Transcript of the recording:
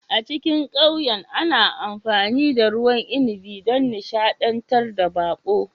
A cikin ƙauyen ana amfani da ruwan inabi don nishadantar da baƙo